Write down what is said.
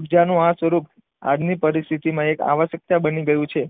ઉર્જા નું આ સ્વરૂપ આજની પરિસ્થિતિમાં એક આવશ્યકતા બની ગયું છે.